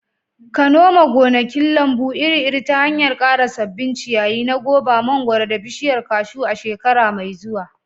ka noma gonakin lambu iri-iri ta hanyar ƙara sabbin ciyayi na goba, mangwaro, da bishiyar kashu a shekara mai zuwa.